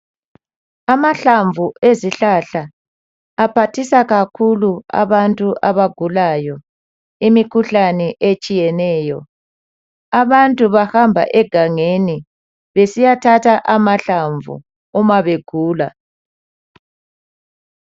Amahlamvu ezihlahla aphathisa kakhulu abantu abagulayo imikhuhlane etshiyeneyo abantu bahamba egangeni besiya thatha amahlamvu uma begula.